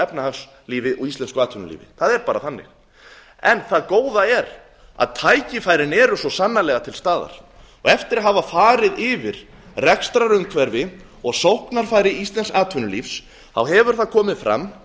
íslensku efnahagslífi og íslensku atvinnulífi það er bara þannig en það góða er að tækifærin eru svo sannarlega til staðar og eftir að hafa farið yfir rekstrarumhverfi og sóknarfæri íslensks atvinnulífs þá hefur það komið fram